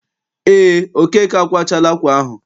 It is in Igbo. Eé, Okeke akwachaala ákwà ahụ.